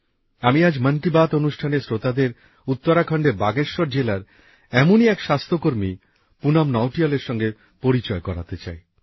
আমি আজ মন কি বাত অনুষ্ঠানের শ্রোতাদের উত্তরাখণ্ডের বাগেশ্বর জেলার এমনই এক স্বাস্থ্যকর্মী পুনম নৌটিয়ালের সঙ্গে পরিচিত করাতে চাই